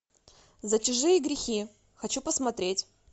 за чужие грехи хочу посмотреть